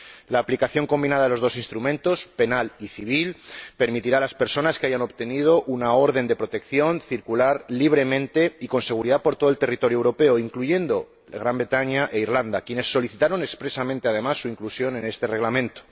La aplicación combinada de los dos instrumentos, penal y civil, permitirá a las personas que hayan obtenido una orden de protección circular libremente y con seguridad por todo el territorio europeo, incluyendo el Reino Unido e Irlanda, quienes solicitaron expresamente, además, su inclusión en este reglamento.